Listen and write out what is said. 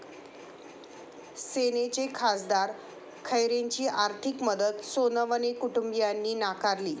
सेनेचे खासदार खैरेंची आर्थिक मदत सोनवणे कुटुंबियांनी नाकारली!